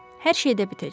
Hər şey də bitəcək.